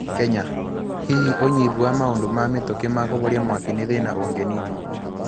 Kenya: Hihi unyivu wa maũndũ ma mĩtũkĩ ma kuvoria mwaki nĩthina ũnginiinwo.